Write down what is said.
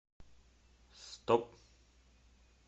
стоп